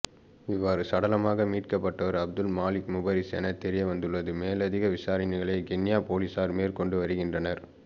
இவ்வாறு சடலமாக மீட்கப்பட்டவர் அப்துல் மலீக் முபாரிஸ் என தெரியவந்துள்ளது மேலதிக விசாரனைகளை கிண்ணியா பொலிஸார் மேற்கொண்டு வருகின்றனர்